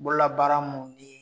Bolola baara mun ni